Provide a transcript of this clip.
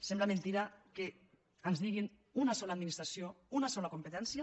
sembla mentida que ens diguin una sola administració una sola competència